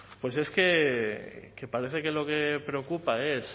pues es que parece que lo que preocupa es